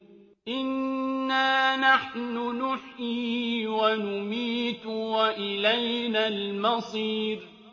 إِنَّا نَحْنُ نُحْيِي وَنُمِيتُ وَإِلَيْنَا الْمَصِيرُ